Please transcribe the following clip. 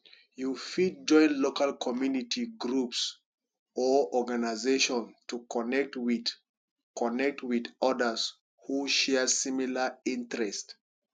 you fit join local community groups or organization to connect with connect with odas who share similar interests